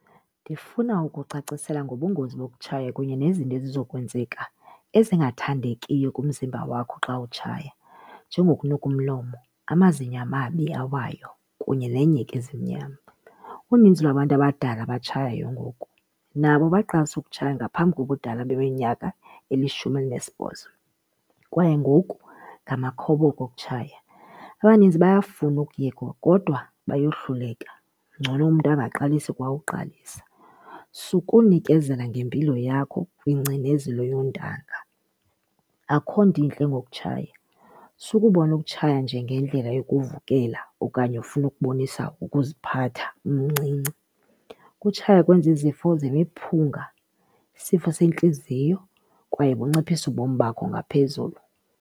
Ndifuna ukucacisela ngobungozi bokutshaya kunye nezinto ezizokwenzeka ezingathandekiyo kumzimba wakho xa utshaya njengokunuka umlomo, amazinyo amabi awayo kunye nenyheke ezimnyama. Uninzi lwabantu abadala abatshayayo ngoku nabo baqalisa ukutshaya ngaphambi kobudala beminyaka elishumi elinesibhozo kwaye ngoku ngamakhoboka okutshaya. Abaninzi bayafuna ukuyeka kodwa bayohluleka, ngcono umntu angaqalisa kwa uqalisa. Sukunikezela ngempilo yakho kwingcinezelo yoontanga, akukho nto intle ngokutshaya. Sukubona ukutshaya njengendlela yokuvukela okanye ufuna ukubonisa ukuziphatha umncinci. Ukutshaya kwenza izifo zemiphunga, isifo sentliziyo kwaye kunciphisa ubomi bakho ngaphezulu.